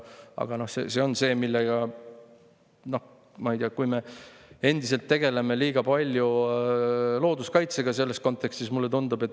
Aga mulle tundub, et me endiselt tegeleme liiga palju looduskaitsega selles kontekstis.